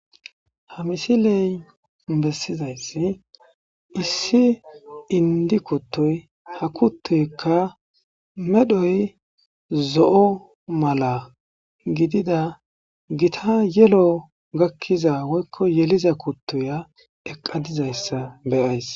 Ha misiley bessizayssi issi indi kuttoy ha kuttoykka medhoy zo'o mala gidida gita yelo gakkiza woykko yeliza kuttuya eqadizayssa beyays.